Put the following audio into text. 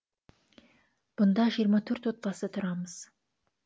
бұнда жиырма төрт отбасы тұрамыз